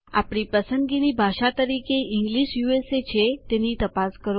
આપણી પસંદગીની ભાષા તરીકે ઇંગ્લિશ યુએસએ છે તેની તપાસ કરો